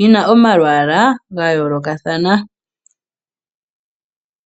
yina omalwaala ga yoolokathana.